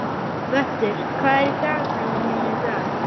Vöttur, hvað er í dagatalinu mínu í dag?